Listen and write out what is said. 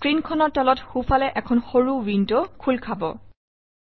A small window opens at the bottom right of the screen